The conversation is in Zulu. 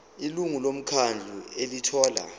ilungu lomkhandlu elithola